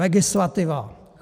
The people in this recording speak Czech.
Legislativa -